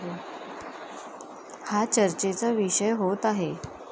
हा चर्चेचा विषय होत आहे.